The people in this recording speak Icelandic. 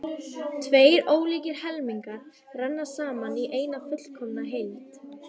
Tveir ólíkir helmingar renna saman í eina fullkomna heild.